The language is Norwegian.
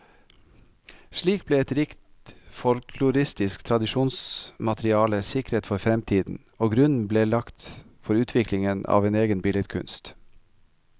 Slik ble et rikt folkloristisk tradisjonsmateriale sikret for fremtiden, og grunnen lagt for utviklingen av en egen billedkunst.